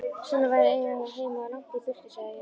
Svona væri að eiga heima langt í burtu, sagði ég.